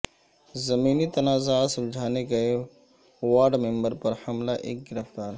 زمینی تنازعہ سلجھانے گئے وارڈ ممبر پر حملہ ایک گرفتار